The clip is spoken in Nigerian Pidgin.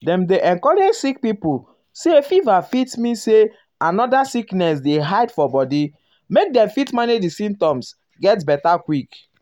dem dey encourage sick um pipo say fever fit mean say another sickness um dey hide for body make dem fit manage di symptoms get beta quick.